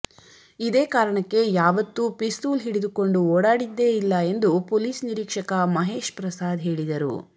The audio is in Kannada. ಇದೇ ಕಾರಣಕ್ಕೆ ಯಾವತ್ತೂ ಪಿಸ್ತೂಲ್ ಹಿಡಿದುಕೊಂಡು ಓಡಾಡಿದ್ದೇ ಇಲ್ಲ ಎಂದು ಪೊಲೀಸ್ ನಿರೀಕ್ಷಕ ಮಹೇಶ್ ಪ್ರಸಾದ್ ಹೇಳಿದರು